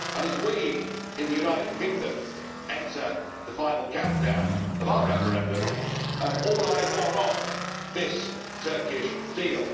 As we, in the United Kingdom, enter the final countdown of our referendum, all eyes are on this Turkish deal.